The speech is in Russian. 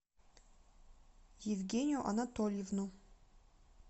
евгению анатольевну